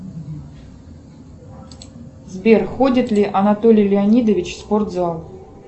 сбер ходит ли анатолий леонидович в спортзал